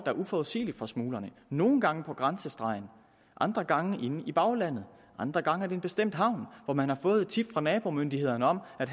er uforudsigelig for smuglerne nogle gange på grænsestregen andre gange inde i baglandet og andre gange er en bestemt havn hvor man har fået et tip fra nabomyndighederne om at